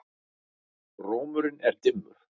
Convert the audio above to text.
Rómurinn er dimmur.